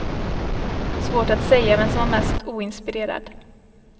Svårt att säga vem som var mest oinspirerad.